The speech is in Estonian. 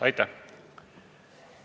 Aitäh!